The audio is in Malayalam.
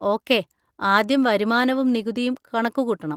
ഓക്കെ, ആദ്യം വരുമാനവും നികുതിയും കണക്കുകൂട്ടണം.